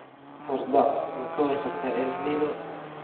"Hordhac Ma ka warqabtaa El Nino?"